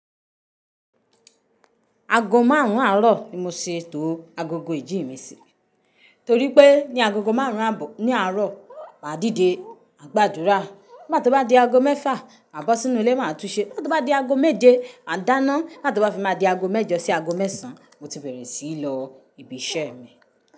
Aago márùn-ún àárọ̀ ni mo ṣe tó agogo ìjí mi sí, torí pé ní agogo márùn-ún abọ ní àárọ̀, máa dìde, máa gbàdúrà. Nigba tí ó bá di aago mẹ́fà, maa bọ sínú ilé máa tún ṣe. Ti ó bá di aago méje, à dáná. Nigb tí ó bá fi má di aago mẹ́jọ sí aago mẹ́sàn-án, mo ti bẹ̀rẹ̀ sí í lọ ibi iṣẹ́ mi.